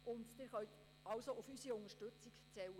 Sie können auf unsere Unterstützung zählen.